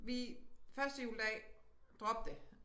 Vi første juledag drop det